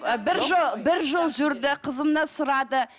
ы бір жыл бір жыл жүрді қызымды сұрады